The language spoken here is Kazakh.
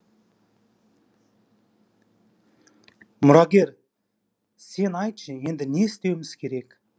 мұрагер сен айтшы енді не істеуіміз керек